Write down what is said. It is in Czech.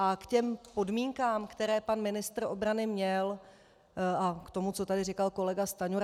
A k těm podmínkám, které pan ministr obrany měl, a k tomu, co tady říkal kolega Stanjura.